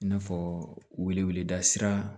I n'a fɔ weleda sira